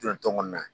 Jɔ kɔnɔna na